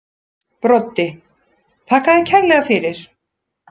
Broddi: Þakka þær kærlega fyrir.